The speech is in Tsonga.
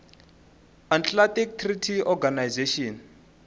atlantic treaty organization